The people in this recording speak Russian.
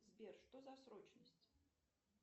сбер что за срочность